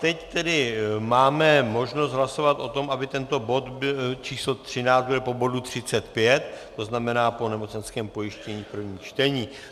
Teď tedy máme možnost hlasovat o tom, aby tento bod číslo 13 byl po bodu 35, to znamená po nemocenském pojištění, první čtení.